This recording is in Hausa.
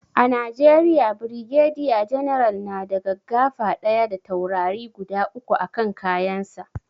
A najeriya brigadier general na da gaggafa ɗaya da taurari guda uku a kan kayan sa